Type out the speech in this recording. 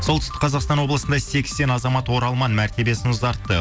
солтүстік қазақстан облысында сексен азамат оралман мәртебиесін ұзартты